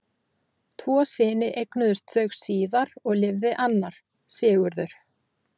Tvo syni eignuðust þau síðar og lifði annar, Sigurður.